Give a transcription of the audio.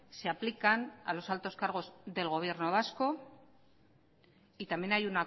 se aplican a los altos cargos del gobierno vasco y también